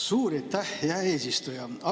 Suur aitäh, hea eesistuja!